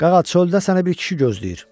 Qaqa, çöldə sənə bir kişi gözləyir.